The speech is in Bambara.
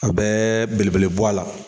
A bɛɛ belebele bɔ a la